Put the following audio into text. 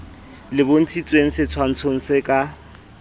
le bontshitshweng setshwantshong se ka